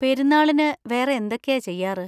പെരുന്നാളിന് വേറെ എന്തൊക്കെയാ ചെയ്യാറ്?